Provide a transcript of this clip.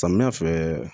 Samiya fɛ